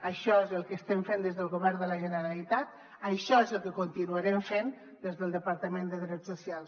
això és el que estem fent des del govern de la generalitat això és el que continuarem fent des del departament de drets socials